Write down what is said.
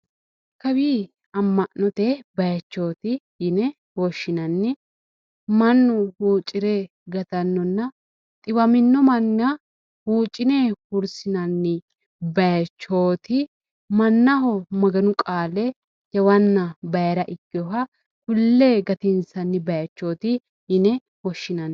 Kawi amma'note bayichooti yine woshshinanni mannu huucire gatannonna xiwamino manna huucine hurisinanni bayichoti mannaho maganu qaale jawana bayira ikkewoha kulle gatinsanni bayichoti yine woshinanni.